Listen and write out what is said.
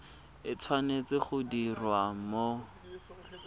e tshwanetse go diriwa mo